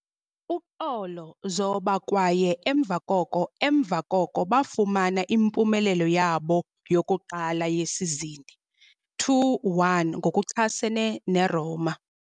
Uxolo, zoba kwaye emva koko emva koko bafumana impumelelo yabo yokuqala yesizini- 2-1 ngokuchasene ne-Roma.